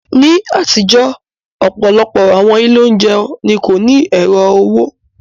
Ní àtijọ́, ọ̀pọ̀lọpọ̀ àwọn ilé oúnjẹ ni kò ní ẹ̀rọ owó.